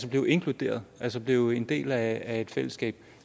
blive inkluderet altså blive en del af et fællesskab